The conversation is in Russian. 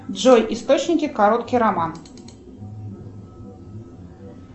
джой источники короткий роман